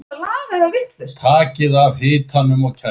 Takið af hitanum og kælið.